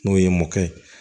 N'o ye mɔkɛ ye